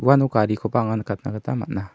uano garikoba anga nikatna gita man·a.